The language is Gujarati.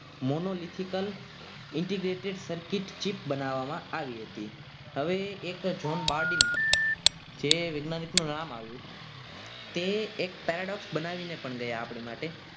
monolithical Integrated circuit ચીફ બનાવવામાં આવી હતી. હવે એક John Bardi જે વૈજ્ઞાનિક નું નામ આવ્યું તે બનાવીને ગયા આપણી માટે